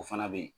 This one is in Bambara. O fana bɛ ye